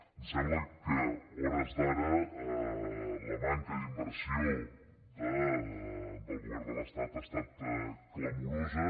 em sembla que a hores d’ara la manca d’inversió del govern de l’estat ha estat clamorosa